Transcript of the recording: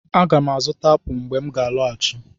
Aga m azụta apụl mgbe m ga-alọghachi.